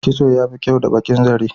Kitso yafi kyau da baƙin zare.